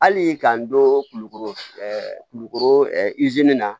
Hali k'an don kulukoro kulukoro na